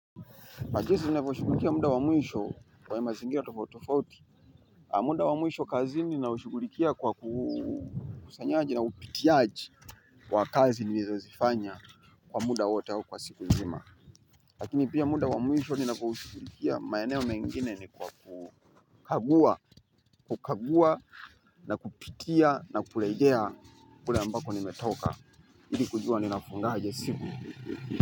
Na jinsi ninavyoshughulikia muda wa mwisho kwa mazingira tofauti tofauti muda wa mwisho kazini naushughulikia kwa ukusanyaji na upitiaji wa kazi niliozifanya kwa muda wote au kwa siku nzima. Lakini pia muda wa mwisho ninavoushughulikia maeneo mengine ni kwa kukagua, kukagua na kupitia na kurejea kule ambako nimetoka. Ili kujua ninafungaje siku.